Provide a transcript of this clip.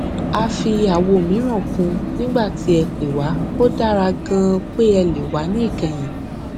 a fi àwo mìíràn kún un nígbà tí ẹ pè wá ó dára ganan pé ẹ lè wá ní ìkẹyìn